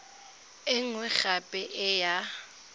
e nngwe gape e ya